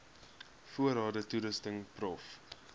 voorrade toerusting prof